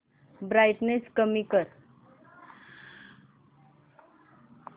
brightness कमी कर